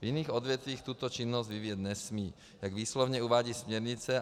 V jiných odvětvích tuto činnost vyvíjet nesmí, jak výslovně uvádí směrnice.